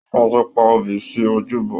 Wọn tí pa obì sí ojúbọ.